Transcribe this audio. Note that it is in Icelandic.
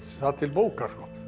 til bókar